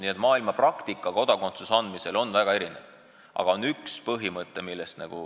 Nii et maailmapraktika kodakondsuse andmisel on väga erinev.